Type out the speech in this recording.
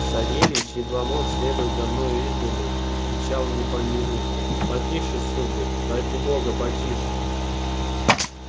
савельич едва мог следовать за мною издали и кричал мне поминутно потише сударь ради бога потише